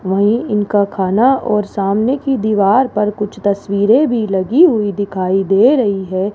वहीं इनका खाना और सामने की दीवार पर कुछ तस्वीरें भी लगी हुई दिखाई दे रही है।